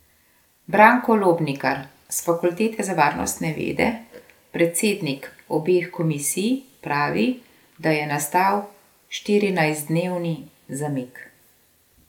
Branko Lobnikar s fakultete za varnostne vede, predsednik obeh komisij, pravi, da je nastal štirinajstdnevni zamik.